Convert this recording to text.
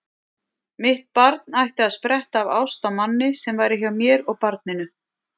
Mitt barn ætti að spretta af ást á manni sem væri hjá mér og barninu.